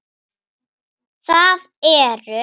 Það eru